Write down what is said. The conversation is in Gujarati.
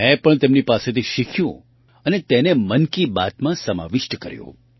મેં પણ તેમની પાસેથી શીખ્યું અને તેને મન કી બાતમાં સમાવિષ્ટ કર્યું